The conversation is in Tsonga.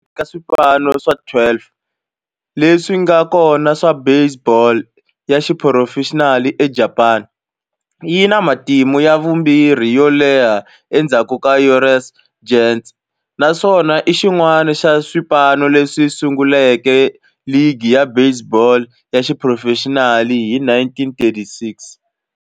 Exikarhi ka swipano swa 12 leswi nga kona swa baseball ya xiphurofexinali eJapani, yi na matimu ya vumbirhi yo leha endzhaku ka Yomiuri Giants, naswona i xin'wana xa swipano leswi sunguleke ligi ya baseball ya xiphurofexinali hi 1936.